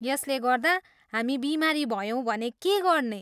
यसले गर्दा हामी बिमारी भयौँ भने के गर्ने?